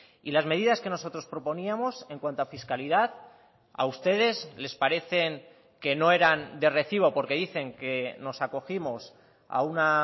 y las medidas que nosotros proponíamos en cuanto a fiscalidad a ustedes les parecen que no eran de recibo porque dicen que nos acogimos a una